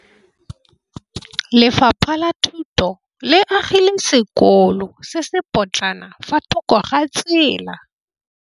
Lefapha la Thuto le agile sekôlô se se pôtlana fa thoko ga tsela.